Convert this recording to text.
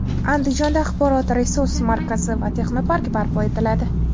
Andijonda axborot-resurs markazi va texnopark barpo etiladi.